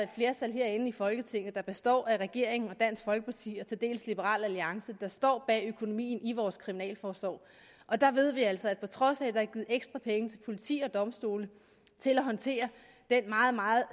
flertal herinde i folketinget der består af regeringen dansk folkeparti og til dels liberal alliance der står bag økonomien i vores kriminalforsorg og der ved vi altså at på trods af at der er givet ekstra penge til politi og domstole til at håndtere den meget meget